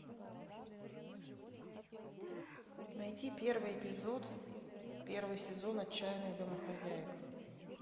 найти первый эпизод первый сезон отчаянных домохозяек